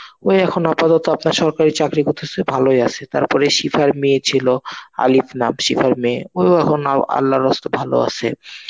ওই এখন আপাতত আপনার সরকারি চাকরি করতেছে. ভালোই আছে. তারপরে শিখার মেয়ে ছিল আলিফনাথ, শিখার মেয়ে. ও এখন আল্লার ওয়াস্তে ভালো আছে.